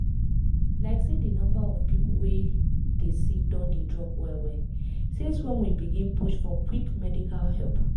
like say di number of people wey dey sick don dey drop well well since when we begin push for quick medical help.